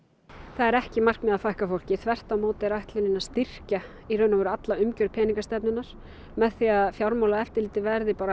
það er ekki markmiðið að fækka fólki þvert á móti er ætlunin að styrkja alla umgjörð peningastefnunnar með því að Fjármálaeftirlitið verði